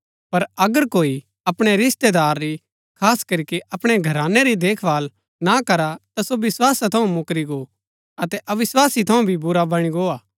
पर अगर कोई अपणै रिस्तेदार री खास करीके अपणै घरानै री देखभाल ना करा ता सो विस्‍वासा थऊँ मुकरी गो अतै अविस्वासी थऊँ भी बुरा बणी गो हा